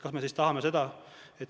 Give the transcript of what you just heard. Kas me siis tahame seda?